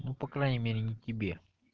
ну по крайней мере не тебе